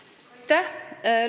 Aitäh!